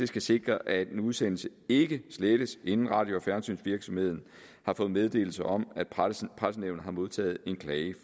skal sikre at en udsendelse ikke slettes inden radio og fjernsynsvirksomheden har fået meddelelse om at pressenævnet har modtaget en klage